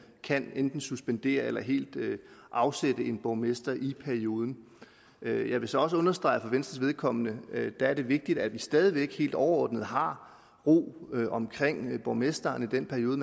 kan enten suspendere eller helt afsætte en borgmester i perioden jeg vil så også understrege at for venstres vedkommende er det vigtigt at vi stadig væk helt overordnet har ro omkring borgmesteren i den periode